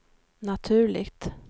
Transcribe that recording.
naturligt